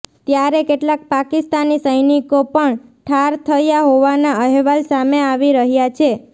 ત્યારે કેટલાક પાકિસ્તાની સૈનિકો પણ ઠાર થયા હોવાના અહેવાલ સામે આવી રહ્યા છે